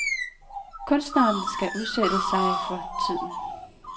Kunstneren skal udsætte sig for tiden.